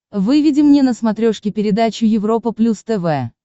выведи мне на смотрешке передачу европа плюс тв